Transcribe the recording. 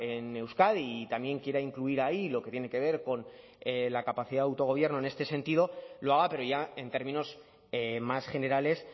en euskadi y también quiera incluir ahí lo que tiene que ver con la capacidad de autogobierno en este sentido lo haga pero ya en términos más generales